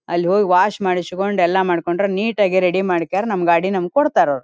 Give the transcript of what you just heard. ಅಲ್ಲಿ ಹೋಗಿ ವಾಶ್ ಮಾಡಿಸಿಕೊಂಡು ಎಲ್ಲ ಮಾಡ್ಕೊಂಡ್ರೆ ನೀಟ್ ಆಗಿ ರೆಡಿ ಮಾಡಕೆ ನಮ್ಮ್ ಗಾಡಿ ನಮಗೆ ಕೊಡ್ತಾರೆ ಅವರು.